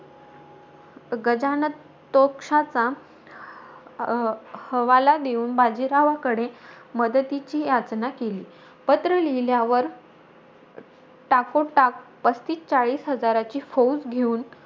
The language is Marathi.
गजानतोकशाचा ह हवाला देऊन, बाजीरावाकडे मदतीची याचना केली. पत्र लिहिल्यावर टाकोटाक, पस्तीस चाळीस हजाराची फौज घेऊन,